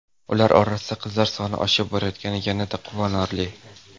Ular orasida qizlar soni oshib borayotgani yanada quvonarli.